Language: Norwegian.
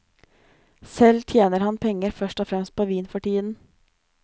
Selv tjener han penger først og fremst på vin for tiden.